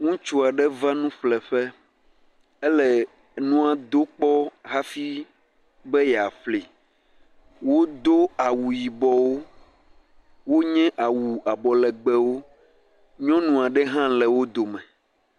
Ŋutsu aɖe va nuƒleƒe, ele nua do kpɔ hafi be yeaƒlee. Wodo awu yibɔwo, wonye awu abɔ legbewo, nyɔnu aɖe hã le wo dome.